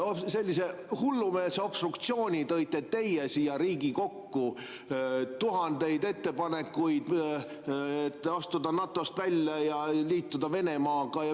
Sellise hullumeelse obstruktsiooni tõite teie siia Riigikokku, tegite tuhandeid ettepanekuid, näiteks et kas astuda NATO‑st välja ja kas liituda Venemaaga.